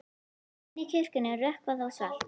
Inni í kirkjunni er rökkvað og svalt.